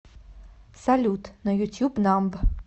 салют на ютюб намб